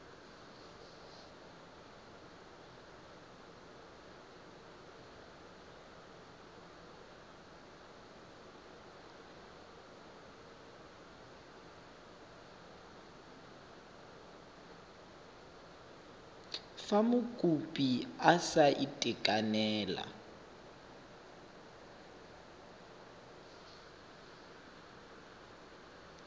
fa mokopi a sa itekanela